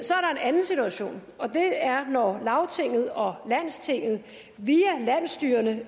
anden situation og det er når lagtinget og landstinget via landsstyrerne